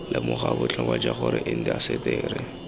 lemoga botlhokwa jwa gore indaseteri